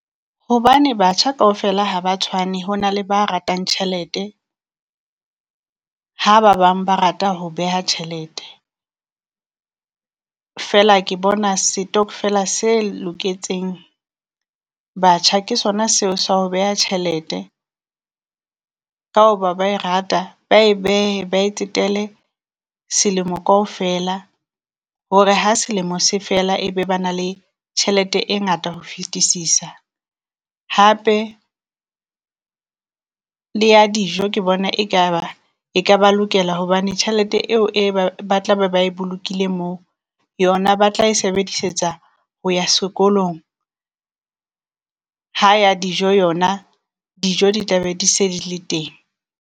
Hobane batjha kaofela ha ba tshwane ho na le ba ratang tjhelete, ha ba bang ba rata ho beha tjhelete. Feela ke bona setokfela se loketseng batjha ke sona seo sa ho beha tjhelete, ka hoba ba e rata ba e behe ba e tsetele selemo kaofela hore ha selemo se fela e be ba na le tjhelete e ngata ho fetisisa. Hape le ya dijo ke bona ekaba e ka ba lokela hobane tjhelete eo e ba ba tla be ba e bolokile moo, yona ba tla e sebedisetsa ho ya sekolong, ha ya dijo yona dijo di tla be di se di le teng.